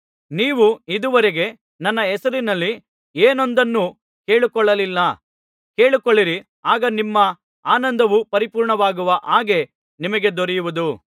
ನೀವು ಇದುವರೆಗೆ ನನ್ನ ಹೆಸರಿನಲ್ಲಿ ಏನೊಂದನ್ನೂ ಕೇಳಿಕೊಳ್ಳಲಿಲ್ಲ ಕೇಳಿಕೊಳ್ಳಿರಿ ಆಗ ನಿಮ್ಮ ಆನಂದವು ಪರಿಪೂರ್ಣವಾಗುವ ಹಾಗೆ ನಿಮಗೆ ದೊರೆಯುವುದು